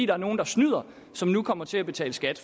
er nogle der snyder som nu kommer til at betale skat